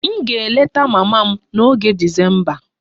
M ga-eleta mama m n'oge Disemba